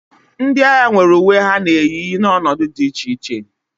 Ndị agha nwere uwe ha na-eyi n'ọnọdụ dị iche iche